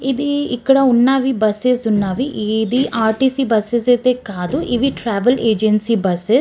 ఇది ఇక్కడ ఉన్నవి బస్ ఉన్నవి. ఇది ర్టీసీ బస్ ఐతే కాదు ఇది ట్రావెల్ ఏజెన్సీ బస్ .